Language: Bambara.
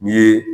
N ye